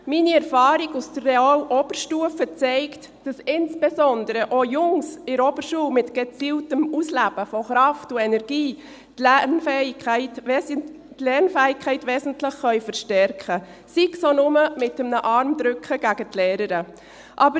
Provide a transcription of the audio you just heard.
Meine Erfahrung aus der Real- und Oberstufe zeigt, dass insbesondere auch die Jungs in der Oberschule mit gezieltem Ausleben von Kraft und Energie die Lernfähigkeit wesentlich verstärken können, sei es auch nur mit einem Armdrücken gegen die Lehrerin.